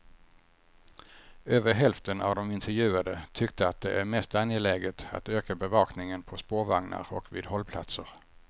Över hälften av de intervjuade tyckte att det är mest angeläget att öka bevakningen på spårvagnar och vid hållplatser.